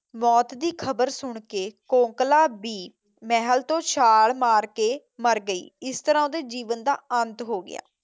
ਮੌਤ ਦੀ ਖਬਰ ਸੁਣਕੇ ਕੋਕਲਾ ਵੀ ਮਹਿਲ ਤੋਂ ਛਾਲ਼ ਮਾਰਕੇ ਮਰ ਗਈ। ਇਸ ਤਰ੍ਹਾਂ ਉਹਦੇ ਜੀਵਨ ਦਾ ਅੰਤ ਹੋ ਗਿਆ।